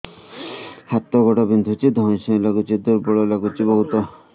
ହାତ ଗୋଡ ବିନ୍ଧୁଛି ଧଇଁସଇଁ ଲାଗୁଚି ଦୁର୍ବଳ ଲାଗୁଚି ବହୁତ